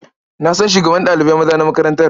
Na san shugaban ɗalibai maza na makarantar.